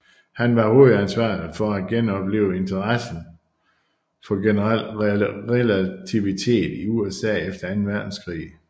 Han var hovedansvarlig for at genoplive interessen for generel relativitet i USA efter anden verdenskrig